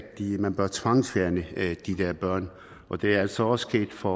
man bør tvangsfjerne de her børn og det er altså også sket for